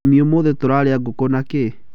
Mami ũmũthĩ tũrarĩa ngũkũ na kĩ?